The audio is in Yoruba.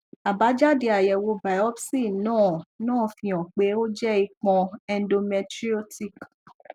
abájáde àyẹwò biopsi náà náà fi hàn pé ó jẹ ìpọn endometriotic